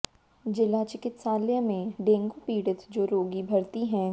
जिला चिकित्सालय में डेंगू पीडि़त जो रागी भर्ती हैं